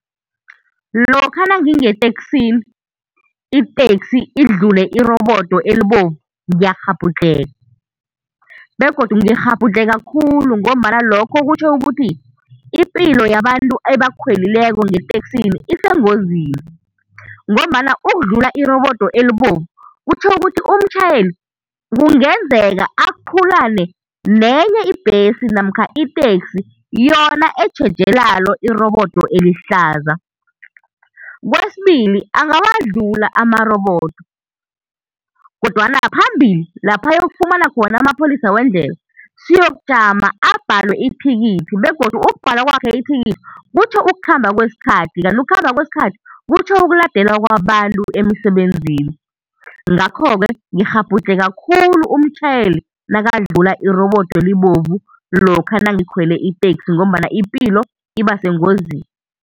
Lokha nangingeteksini, iteksi idlule irobodo elibovu, ngiyakghabhudlheka, begodu ngikghabhudlheka khulu ngombana lokho kutjho ukuthi ipilo yabantu ebakhwelileko ngeteksini isengozini, ngombana ukudlula irobodo elibovu, kutjho ukuthi umtjhayeli kungenzeka aqhulane nenye ibhesi namkha iteksi yona etjheje lalo irobodo elihlaza. Kwesibili, angawadlula amarobodo, kodwana phambili, laph' ayokufumana khona amapholisa wendlela, siyokujama abhalwe ithikithi, begodu ukubhalwa kwakhe ithikithi kutjho ukukhamba kwesikhathi, kanti ukukhamba kwesikhathi kutjho ukuladelwa kwabantu emsebenzini. Ngakho-ke, ngikghabudlheka khulu umtjhayeli nakadlula irobodo elibovu lokha nangikhwele iteksi ngombana ipilo iba sengozini.